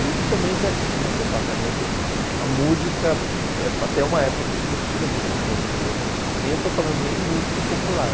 E também já tinha um departamento, a música, até uma época, a gente não estuda música brasileira, nem, eu estou falando, nem música popular.